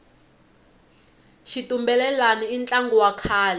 xitumbelelani i ntlangu wa kahle